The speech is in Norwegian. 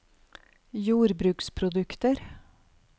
jordbruksprodukter